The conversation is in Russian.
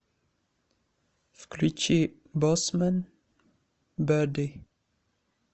включи боссмэн берди